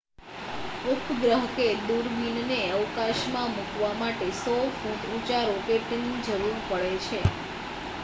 ઉપગ્રહ કે દૂરબીનને અવકાશમાં મૂકવા માટે 100 ફૂટ ઊંચા રોકેટની જરૂર પડે છે